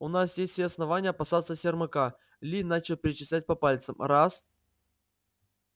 у нас есть все основания опасаться сермака ли начал перечислять по пальцам раз